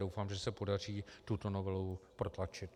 Doufám, že se podaří tuto novelu protlačit.